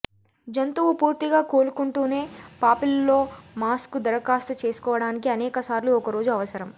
జంతువు పూర్తిగా కోలుకుంటూనే పాపిల్లోమాస్కు దరఖాస్తు చేసుకోవటానికి అనేక సార్లు ఒక రోజు అవసరం